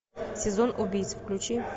сезон убийц включи